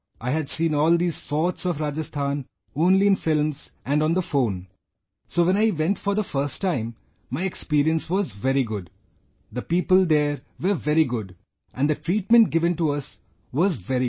I had seen all these forts of Rajasthan only in films and on the phone, so, when I went for the first time, my experience was very good, the people there were very good and the treatment given to us was very good